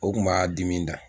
O kun b'a dimi da.